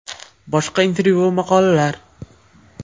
Boshqa intervyu va maqolalar: !